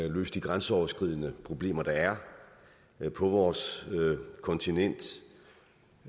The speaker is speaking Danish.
og løse de grænseoverskridende problemer der er på vores kontinent